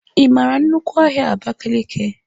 Ị mara nnukwu ahia Abakiliki?